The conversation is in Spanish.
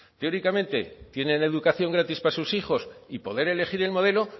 teóricamente tienen educación gratis para sus hijos y poder elegir el modelo